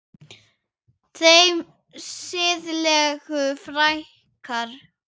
Þeim siðlegu fækkar.